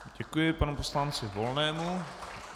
Děkuji panu poslanci Volnému.